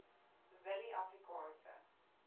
willieafrikaanse